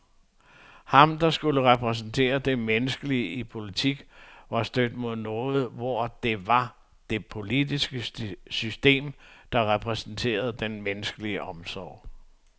Han, der skulle repræsentere det menneskelige i politik, var stødt mod noget, hvor det var det politiske system, der repræsenterede den menneskelige omsorg.